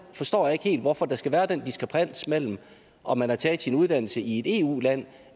forstår jeg ikke helt hvorfor der skal være den diskrepans mellem om man har taget sin uddannelse i et eu land